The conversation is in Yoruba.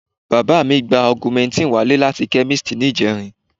Bàbá mi gba augmentin wálé láti chemist ní ìjẹrin